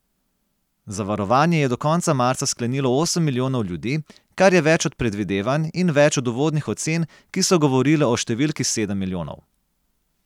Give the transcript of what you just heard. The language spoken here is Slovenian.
Zavarovanje je do konca marca sklenilo osem milijonov ljudi, kar je več od predvidevanj in več od uvodnih ocen, ki so govorile o številki sedem milijonov.